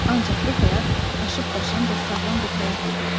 Ancaq bu həyat aşıb-daşan və sağlam bir həyat idi.